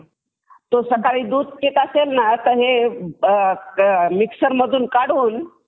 तो सकाळी दूध पीत असेल ना हे मिक्सर मधून काढून